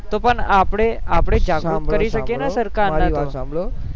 તો આપડે આપડે જગૃત કરી શકીએ ન સરકાર ને સાંભળો સાંભળો મારી વાત સાંભળો